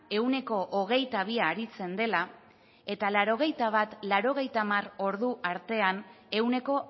ehuneko hogeita bia aritzen dela eta laurogeita bat laurogeita hamar ordu artean ehuneko